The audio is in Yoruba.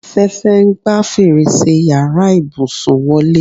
Afẹ́fẹ́ ń gba fèrèsé yàrá ìbùsùn wọlé